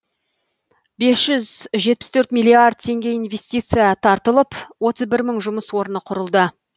бес жүз жетпіс төрт миллиард теңге инвестиция тартылып отыз бір мың жұмыс орны құрылды